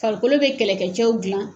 Farikolo bɛ kɛlɛkɛcɛw dilan